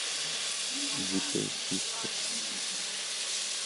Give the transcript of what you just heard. дикая киска